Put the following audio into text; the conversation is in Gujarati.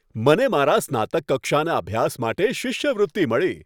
મને મારા સ્નાતક કક્ષાના અભ્યાસ માટે શિષ્યવૃત્તિ મળી.